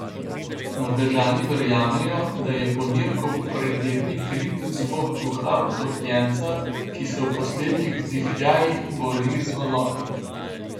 Norvežani verjamejo, da je ponirkov predirni krik zvok duha utopljenca, ki se v poslednjih vzdihljajih bori z valovi.